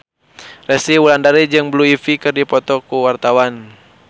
Resty Wulandari jeung Blue Ivy keur dipoto ku wartawan